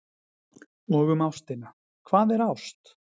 Og um ástina: Hvað er ást?